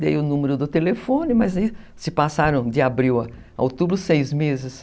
Dei o número do telefone, mas aí se passaram de abril a outubro, seis meses.